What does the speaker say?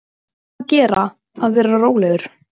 Um að gera að vera rólegur.